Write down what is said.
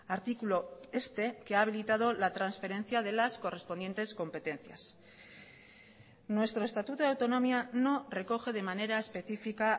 artículo este que ha habilitado la transferencia de las correspondientes competencias nuestro estatuto de autonomía no recoge de manera específica